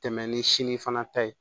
Tɛmɛn ni sini fana ta ye